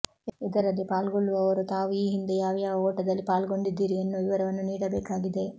ಇದರಲ್ಲಿ ಪಾಲ್ಗೊಳ್ಳುವವರು ತಾವು ಈ ಹಿಂದೆ ಯಾವ್ಯಾವ ಓಟದಲ್ಲಿ ಪಾಲ್ಗೊಂಡಿದ್ದೀರಿ ಎನ್ನುವ ವಿವರವನ್ನು ನೀಡಬೇಕಾಗಿದೆ